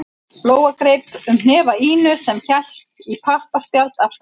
Lóa greip um hnefa Ínu sem hélt í pappaspjald af stærðinni